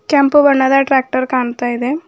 ಕೆಂಪು ಬಣ್ಣದ ಟ್ರ್ಯಾಕ್ಟರ್ ಕಾಣ್ತಾ ಇದೆ.